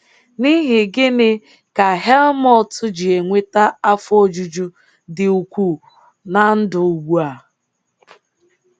N’ihi gịnị ka Helmut ji enweta afọ ojuju dị ukwuu na ndụ ugbu a?